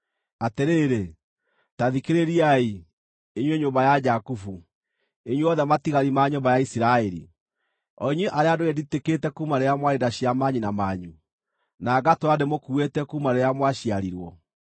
“Atĩrĩrĩ, ta thikĩrĩriai, inyuĩ nyũmba ya Jakubu, inyuothe matigari ma nyũmba ya Isiraeli, o inyuĩ arĩa ndũire nditikĩte kuuma rĩrĩa mwarĩ nda cia manyina manyu, na ngatũũra ndĩmũkuuĩte kuuma rĩrĩa mwaciarirwo.